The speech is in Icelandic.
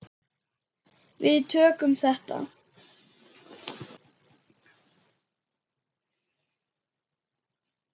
Við tökum þetta.